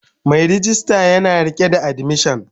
Mai rejista yana rike da admission